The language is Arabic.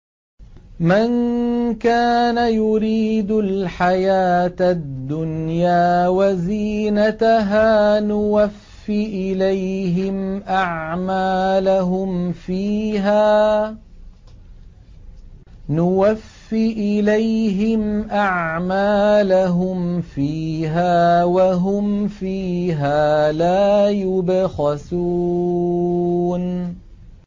مَن كَانَ يُرِيدُ الْحَيَاةَ الدُّنْيَا وَزِينَتَهَا نُوَفِّ إِلَيْهِمْ أَعْمَالَهُمْ فِيهَا وَهُمْ فِيهَا لَا يُبْخَسُونَ